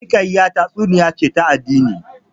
Hikaya tatsuniya ce ta addini